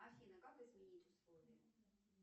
афина как изменить условия